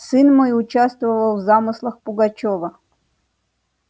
сын мой участвовал в замыслах пугачёва